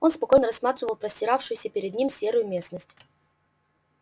он спокойно рассматривал простиравшуюся перед ним серую местность